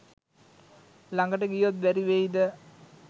ළඟට ගියොත් බැරි වෙයිද